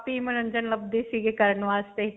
ਆਪੀ ਮਨੋਰੰਜਨ ਲਭਦੇ ਸੀਗੇ ਕਰਨ ਵਾਸਤੇ